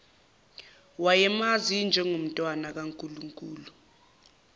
wayemazi njengomntwana kankulunkulu